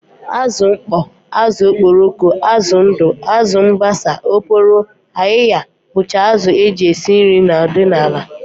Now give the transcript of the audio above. Azụ mkpọ, azụ okporoko, azụ ndụ, azụ mbasa, oporo, ayịya bụcha azụ e ji esi nri ọdịnala